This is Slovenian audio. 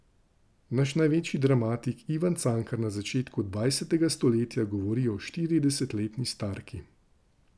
Naš največji dramatik Ivan Cankar na začetku dvajsetega stoletja govori o štiridesetletni starki.